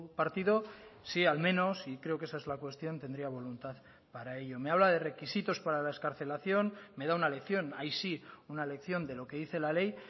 partido si al menos y creo que esa es la cuestión tendría voluntad para ello me habla de requisitos para la excarcelación me da una lección ahí sí una lección de lo que dice la ley